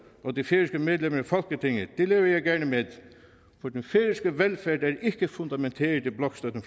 og de færøske medlemmer i folketinget lever jeg gerne med for den færøske velfærd er ikke fundamenteret i blokstøtten